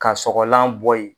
Ka sɔgɔlan bɔyi.